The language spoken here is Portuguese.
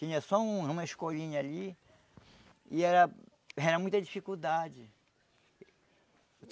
Tinha só uma escolinha ali e era era muita dificuldade.